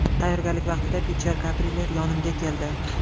Tayyorgarlik vaqtida Piter Gabriel yonimga keldi.